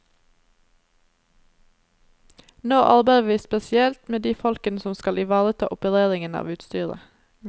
Nå arbeider vi spesielt med de folkene som skal ivareta opereringen av utstyret.